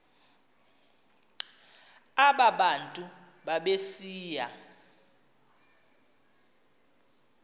aba bantu babesiya